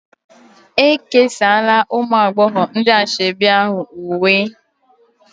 E kesaala ụmụ agbọghọ ndị ashebi ahụ uwe